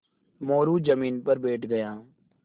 मोरू ज़मीन पर बैठ गया